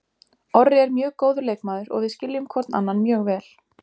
Orri er mjög góður leikmaður og við skiljum hvorn annan mjög vel.